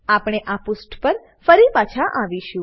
આપણે આ પુષ્ઠ પર ફરી પાછા આવીશું